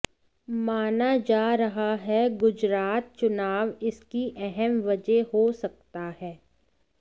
माना जा रहा है गुजरात चुनाव इसकी अहम वजह हो सकता है